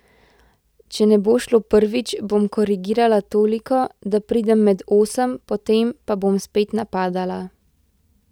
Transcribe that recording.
Če ne bo šlo prvič, bom korigirala toliko, da pridem med osem, potem pa bom spet napadala.